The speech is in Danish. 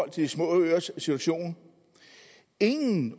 af de små øers situation ingen